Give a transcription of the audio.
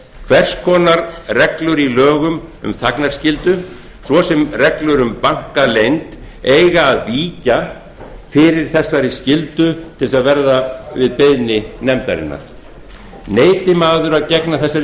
hvers konar reglur í lögum um þagnarskyldu svo sem reglur um bankaleynd eiga að víkja fyrir þessari skyldu til að verða við beiðni nefndarinnar neiti maður að gegna þessari